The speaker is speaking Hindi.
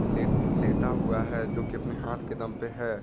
लेत् लेता हुआ है जोकि अपने हाथ के दम पे है।